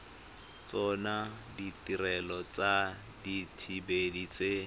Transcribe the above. tsona ditirelo tsa dithibedi tse